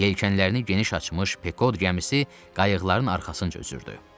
Yelkənlərini geniş açmış Pekod gəmisi qayıqların arxasınca üzdü.